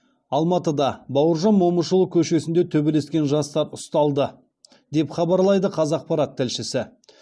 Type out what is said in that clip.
алматыда бауыржан момышұлы көшесінде төбелескен жастар ұсталды деп хабарлайды қазақпарат тілшісі